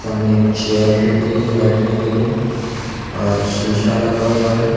सामने एक चेयर दिख रही है बैठने के लिए और शीशा लगा हुआ है।